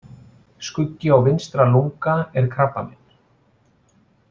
Skuggi á vinstra lunga er krabbamein.